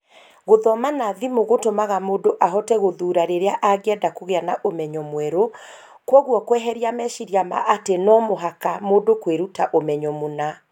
Gũthoma na thimũ gũtũmaga mũndũ ahote gũthuura rĩrĩa angĩenda kũgĩa na ũmenyo mwerũ, kwoguo kweheria meciria ma atĩ 'no mũhaka' mũndũ kwĩruta ũmenyo mũna.